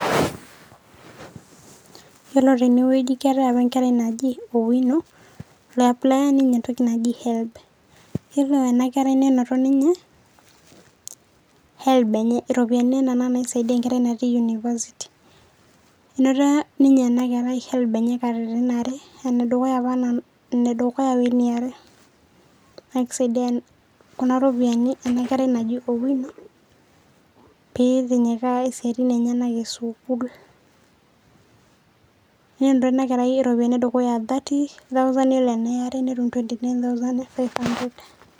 Iyiolo tene wueji keetai apa enkerai naji Owino liaplia ninye entoki najii helb. Iyiolo ena kerai neinoto ninye helb enye, iropiani nena naisiadia enkerai natii university. Inoto ninye ena kerai helb enye katitin are, ene dukuya wo ene are. Naake isaidia kuna ropiani ena kerai naji owino piitinyikaa isiatin enyenak e sukuul. Inoto ena kerai iropiani edukuya thirty thousand, iyiolo eniare netum, twenty nine thousand five hundred.